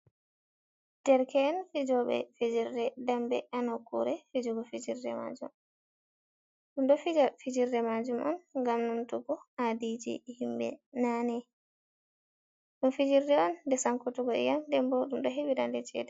"Derke’en" fijoɓe fijerde dembe ha nokkure fijugo fijirde majum ɗum ɗo fija fijirde majum on ngam numtugo habi ji himɓe nane ɗum fijirde on nde sankutugo iyam ndembo ɗum ɗo heɓira chede.